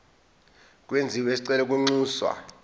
kwenziwe isicelo kwinxusa